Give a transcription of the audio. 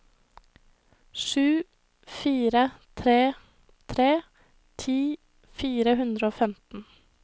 sju fire tre tre ti fire hundre og femten